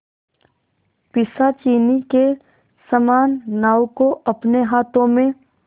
पिशाचिनी के समान नाव को अपने हाथों में